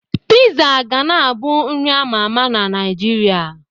Piizaa ga na abụ nri a ma ama na Naịjirịa.